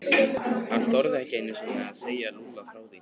Hann þorði ekki einu sinni að segja Lúlla frá því.